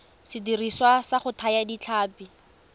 sediriswa sa go thaya ditlhapi